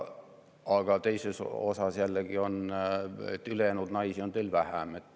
Aga teisest küljest jällegi: ülejäänud naisi on teil vähem.